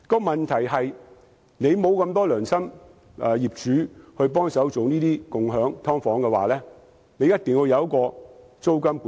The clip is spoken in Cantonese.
問題是，如果沒有那麼多良心業主幫忙提供共享"劏房"，便須實施租金管制。